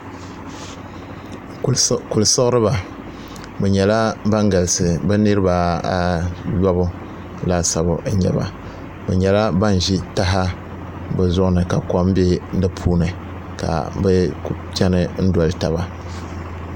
Kuli siɣiriba bi nyɛla ban galisi bi nirabq ayobu laasabu n nyɛba bi nyɛla ban ʒi taha bi zuɣu ni ka kom bɛ di puuni ka bi chɛni doli taba